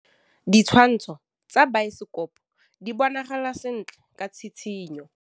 Ditshwantshô tsa biosekopo di bonagala sentle ka tshitshinyô.